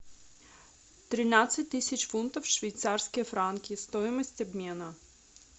тринадцать тысяч фунтов швейцарские франки стоимость обмена